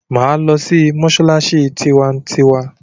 Máa lọ sí mọ́ṣáláṣí tiwantiwa!